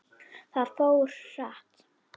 Það fór hratt.